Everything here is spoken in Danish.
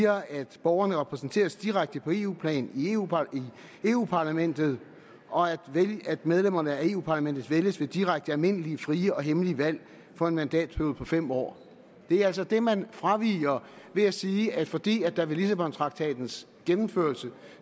at borgerne repræsenteres direkte på eu plan i europa parlamentet og at medlemmerne af europa parlamentet vælges ved direkte almindelige frie og hemmelige valg for en mandatperiode på fem år det er altså det man fraviger ved at sige at fordi der ved lissabontraktatens gennemførelse